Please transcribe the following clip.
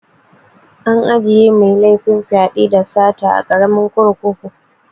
Ana ajiye mai laifin fyaɗe, da sata a karamin kurkuku